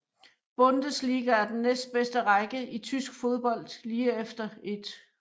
Bundesliga er den næstbedste række i tysk fodbold lige efter 1